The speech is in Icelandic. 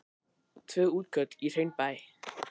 Tvö útköll í Hraunbæ